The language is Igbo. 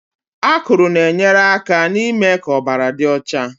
Akụrụ na-enyere aka n'ime ka ọbara dị ọcha